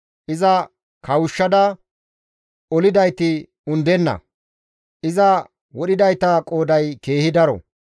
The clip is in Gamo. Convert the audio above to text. Iza kawushshada olidayti undenna; iza wodhidayta qooday keehi daro.